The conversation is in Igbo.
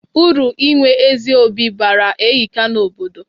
Uru inwe ezi obi bara ehika na obodo.